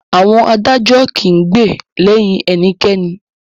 Àwọn adájọ́ kìí gbè lẹyìn ẹnikẹ́ni.